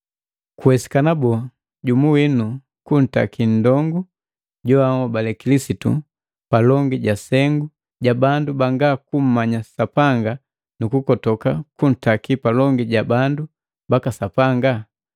Kuwesikana boo, jumu winu kutaki nndongu joahobale Kilisitu palongi ja sengu ja bandu banga kummanya Sapanga nu kukotoka kuntaki palongi ja bandu baka Sapanga?